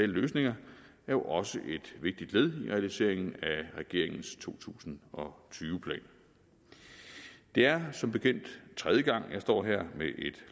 løsninger er jo også et vigtigt led i realiseringen af regeringens to tusind og tyve plan det er som bekendt tredje gang jeg står her med et